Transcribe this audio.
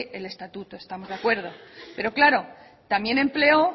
el estatuto estamos de acuerdo pero claro también empleó